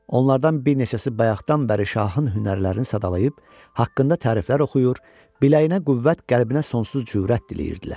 Onlardan bir neçəsi bayaqdan bəri şahın hünərlərini sadalayıb, haqqında təriflər oxuyur, biləyinə qüvvət, qəlbinə sonsuz cürət diləyirdilər.